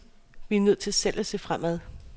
Vi er nødt til selv at se fremad.